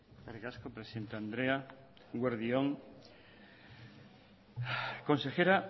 eskerrik asko presidente andrea eguerdi on consejera